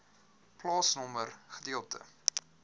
plaasnommer gedeelte